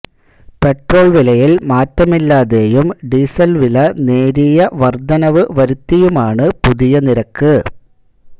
petrol വിലയിൽ മാറ്റമില്ലാതെയും ഡീസൽവില നേരിയ വർദ്ധനവ് വരുത്തിയുമാണ് പുതിയ നിരക്ക്